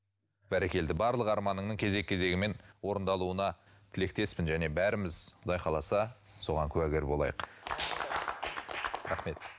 бәрекелді барлық арманыңның кезек кезегімен орындалуына тілектеспін және бәріміз құдай қаласа соған куәгер болайық рахмет